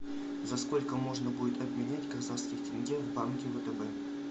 за сколько можно будет обменять казахские тенге в банке втб